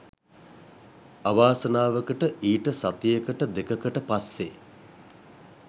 අවාසනාවකට ඊට සතියකට දෙකකට පස්සෙ